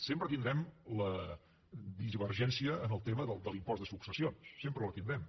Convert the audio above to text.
sempre tindrem la divergència en el tema de l’impost de successions sempre la tindrem